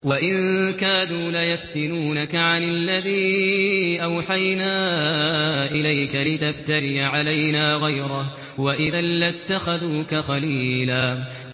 وَإِن كَادُوا لَيَفْتِنُونَكَ عَنِ الَّذِي أَوْحَيْنَا إِلَيْكَ لِتَفْتَرِيَ عَلَيْنَا غَيْرَهُ ۖ وَإِذًا لَّاتَّخَذُوكَ خَلِيلًا